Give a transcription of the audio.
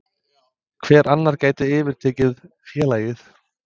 Hver annar gæti yfirtekið félagið?